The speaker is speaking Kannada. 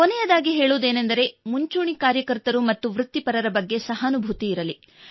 ಕೊನೆಯದಾಗಿ ಮುಂಚೂಣಿ ಕಾರ್ಯಕರ್ತರು ಮತ್ತು ವೃತ್ತಿಪರರ ಬಗ್ಗೆ ಸಹಾನುಭೂತಿ ಇರಲಿ